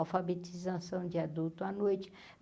Alfabetização de adulto à noite.